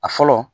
A fɔlɔ